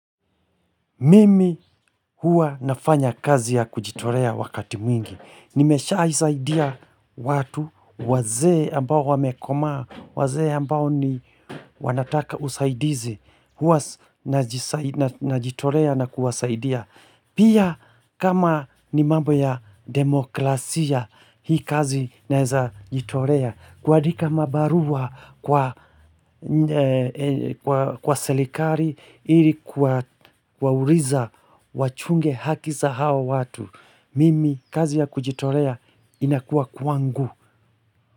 Mimi huwa nafanya kazi ya kujitolea wakati mwingi. Nimeshaisaidia watu wazee ambao wamekomaa, wazee ambao ni wanataka usaidizi. Huwa najitolea na kuwasaidia. Pia kama ni mambo ya demokrasia hii kazi naeza jitorea. Kuandika mabarua kwa serikali ili kuwauliza wachunge haki za hawa watu. Mimi kazi ya kujitolea inakuwa kwangu.